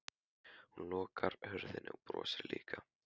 Hún lokar hurðinni og brosir líka.